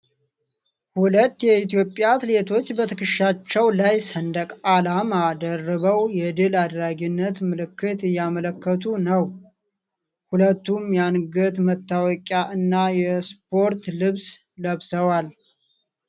ሁለት የኢትዮጵያ አትሌቶች በትከሻቸው ላይ ሰንደቅ ዓላማ ደርበው የድል አድራጊነት ምልክት እያመለከቱ ነው። ሁለቱም የአንገት መታወቂያ እና የስፖርት ልብስ ለብሰዋል።